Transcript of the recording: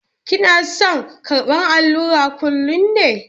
Kina son karɓar allura kullum ne?